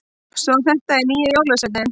Svo þetta er nýji jólasveininn!